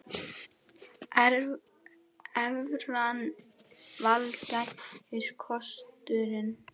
Evran vænlegasti kosturinn